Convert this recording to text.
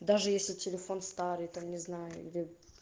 даже если телефон старый там не знаю где